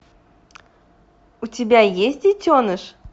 у тебя есть детеныш